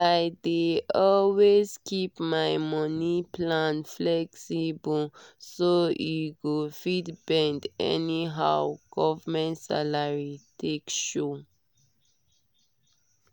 i dey always keep my money plan flexible so e go fit bend anyhow government salary take show.